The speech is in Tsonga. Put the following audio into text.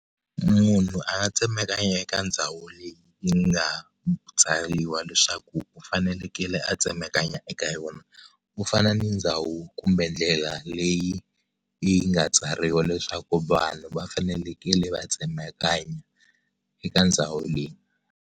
Munhu a nga tsemakanya eka ndhawu leyi yi nga tsariwa leswaku u fanekele a tsemakanya eka yona ku fana ni ndhawu kumbe ndlela leyi yi nga tsariwa leswaku vanhu va fanelekele va tsemakanya eka ndhawu leyi.